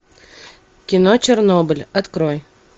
кино чернобыль открой